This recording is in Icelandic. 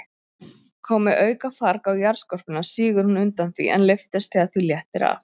Komi aukafarg á jarðskorpuna, sígur hún undan því, en lyftist þegar því léttir af.